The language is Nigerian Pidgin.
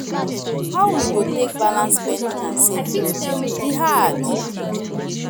How we go take balance spending and saving, e hard.